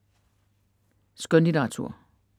Skønlitteratur